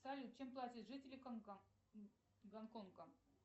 салют чем платят жители гонконга